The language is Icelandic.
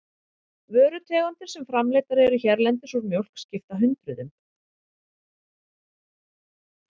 Vörutegundir sem framleiddar eru hérlendis úr mjólk skipta hundruðum.